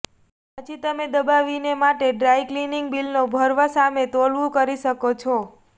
પછી તમે દબાવીને માટે ડ્રાય ક્લિનિંગ બિલનો ભરવા સામે તોલવું કરી શકો છો